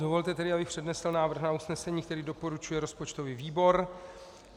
Dovolte tedy, abych přednesl návrh na usnesení, který doporučuje rozpočtový výbor.